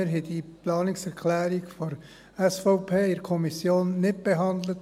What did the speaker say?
Wir haben diese Planungserklärung der SVP in der Kommission nicht behandelt.